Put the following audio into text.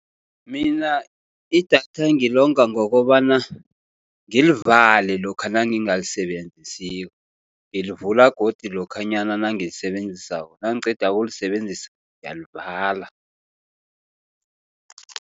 Mina idatha ngilonga ngokobana ngilivale lokha nangingalisebenzisiko. Ngilivula godu lokhanyana nangilisebenzisako nangiqeda ukulisebenzisa ngiyalivala.